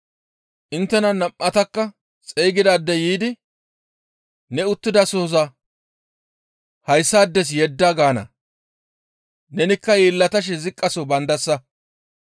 inttena nam7atakka xeygidaadey yiidi, ‹Ne uttidasohoza hayssaades yedda› gaana; nenikka yeellatashe ziqqaso baandasa.